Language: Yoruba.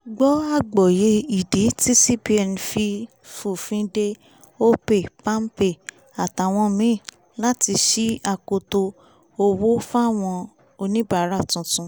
gbọ́ àgbòye ìdí tí cbn fi fòfin de opay palmpay àtàwọn míì láti ṣí akoto owó fáwọn oníbàárà tuntun